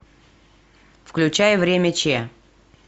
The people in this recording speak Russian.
включай время ч